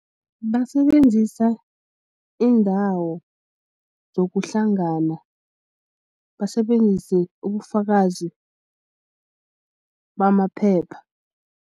Basebenzisa iindawo zokuhlangana basebenzise ubufakazi bamaphepha.